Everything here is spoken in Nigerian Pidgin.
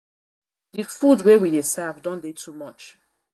food wey we dey serve don dey too much